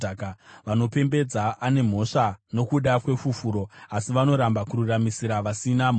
vanopembedza ane mhosva nokuda kwefufuro, asi vanoramba kururamisira vasina mhosva.